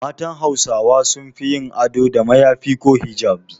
Matan Hausawa sun fi yin ado da mayafi ko hijabi.